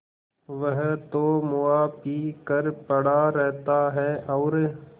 वह तो मुआ पी कर पड़ा रहता है और